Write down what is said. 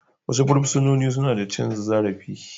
Wasu fursunoni suna da cin zarafi